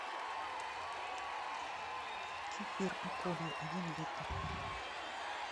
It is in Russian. кефир ополье один литр